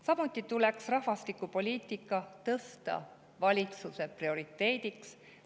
Samuti tuleks rahvastikupoliitika tõsta valitsuse prioriteediks.